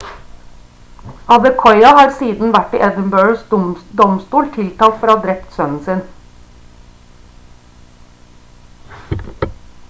adekoya har siden vært i edinburghs domstol tiltalt for å ha drept sønnen sin